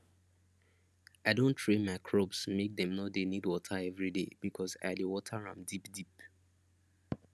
i don train my crops make dem no dey need water everyday because i dey water am deep deep